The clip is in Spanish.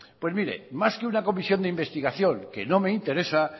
pues mire más que una comisión de investigación que no me interesa